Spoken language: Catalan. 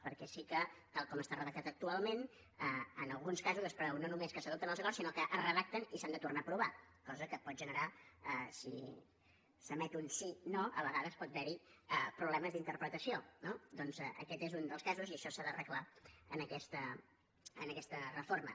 perquè sí que tal com està redactat actualment en alguns casos es preveu no només que s’adoptin els acords sinó que es redacten i s’han de tornar a aprovar cosa que pot generar si s’emet un si no a vegades pot haver hi problemes d’interpretació no doncs aquest és un dels casos i això s’ha d’arreglar en aquesta reforma